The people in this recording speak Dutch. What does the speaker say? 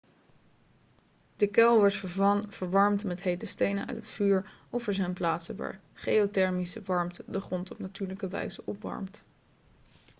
de kuil wordt verwarmd met hete stenen uit het vuur of er zijn plaatsen waar geothermische warmte de grond op natuurlijke wijze opwarmt